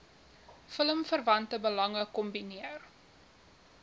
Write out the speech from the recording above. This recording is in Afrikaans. filmverwante belange kombineer